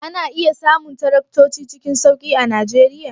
Ana iya samun taraktoci cikin sauki a Najeriya?